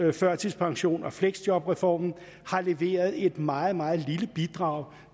og førtidspensions og fleksjobreformen har leveret et meget meget lille bidrag